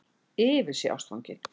Yfir sig ástfangin.